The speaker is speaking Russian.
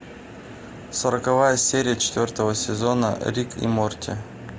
сороковая серия четвертого сезона рик и морти